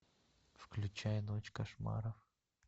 включай ночь кошмаров